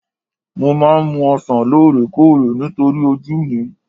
Mo máa ń mu ọsàn lóore kóòrè nítorí ojú mi